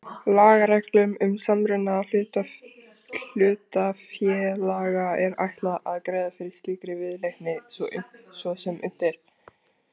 Lagareglum um samruna hlutafélaga er ætlað að greiða fyrir slíkri viðleitni svo sem unnt er.